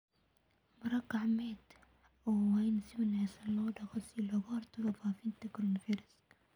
Maro-gacmeedyada waa in si wanaagsan loo dhaqo si looga hortago faafitaanka coronavirus.